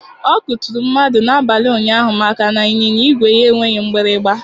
Ọ kụturu mmadụ n'abalị ụnyaahụ maka na ịnyịnya igwe ya enweghị mgbịrịgba.